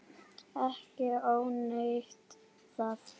Ekki ónýtt það.